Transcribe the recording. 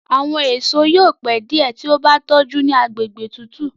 Àwọn èso yóò pẹ diẹ tí o bá tójú ní àgbègbè tútù.